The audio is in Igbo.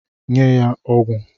Nye ya ogwu ogwu!